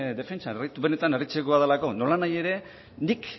defentsan benetan harritzekoa delako nolanahi ere nik